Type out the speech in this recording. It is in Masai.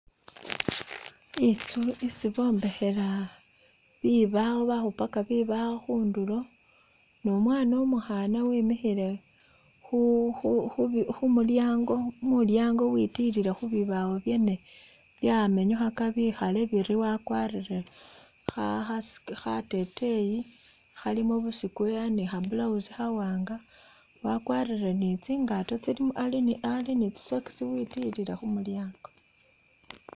I'ntsu isi bombekhela bibawo bakhupaka bibawo khundulo numwaana umukhaana wemikhile khu khu khu khumulyango mulyango witilile khubibawo byene byamenyukhaka bekhale biri wakwalire khakhateteyi khalimo bu square ni kha'blousi khawaanga wakwalire ni tsingaato ali ali ni tsisocks witilile khumulyango